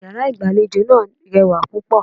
Iyàrá ìgbàlejò náà rewà púpọ̀